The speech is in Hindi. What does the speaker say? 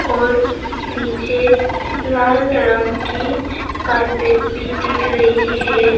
और नीचे लाल रंग की कारपेट भी दिख रही है।